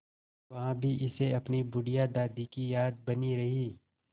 वहाँ भी इसे अपनी बुढ़िया दादी की याद बनी रही